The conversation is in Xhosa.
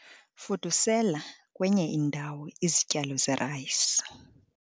fudusela kwenye indawo izityalo zerayisi